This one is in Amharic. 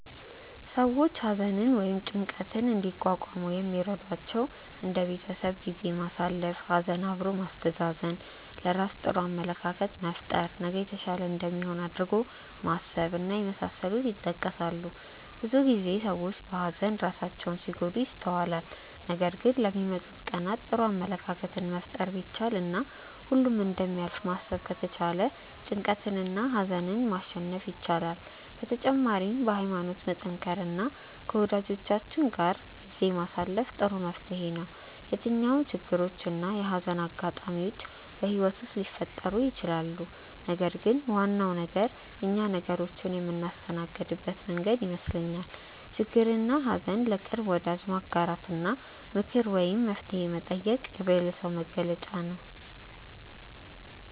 ሰዎች ሀዘንን ወይም ጭንቀትን እንዲቋቋሙ የሚረዷቸው እንደ የቤተሰብ ጊዜ ማሳለፍ፣ ሀዘን አብሮ ማስተዛዘን፣ ለራስ ጥሩ አመለካከት መፍጠር፣ ነገ የተሻለ እንደሚሆን አድርጎ ማሰብ እና የመሳሰሉት ይጠቀሳሉ። ብዙ ጊዜ ሰዎች በሀዘን ራሳቸውን ሲጎዱ ይስተዋላል ነገር ግን ለሚመጡት ቀናት ጥሩ አመለካከትን መፍጠር ቢቻል እና ሁሉም እንደሚያልፍ ማሰብ ከተቻለ ጭንቀትንና ሀዘንን ማሸነፍ ይቻላል። በተጨማሪም በሀይማኖት መጠንከር እና ከወጃጆቻችን ጋር ጊዜ ማሳለፍ ጥሩ መፍትሔ ነው። የትኛውም ችግሮች እና የሀዘን አጋጣሚዎች በህይወት ውስጥ ሊፈጠሩ ይችላሉ ነገር ግን ዋናው ነገር እኛ ነገሮችን የምናስተናግድበት መንገድ ይመስለኛል። ችግርንና ሀዘን ለቅርብ ወዳጅ ማጋራት እና ምክር ወይም መፍትሔ መጠየቅ የብልህ ሰው መገለጫ ነው።